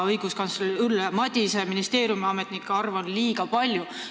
Õiguskantsler Ülle Madise on öelnud, et ministeeriumiametnikke on liiga palju.